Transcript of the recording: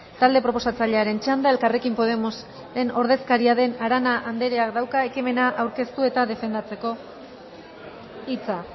talde proposatzailearen txanda elkarrekin podemosen ordezkaria den arana andereak dauka ekimena aurkeztu eta defendatzeko hitza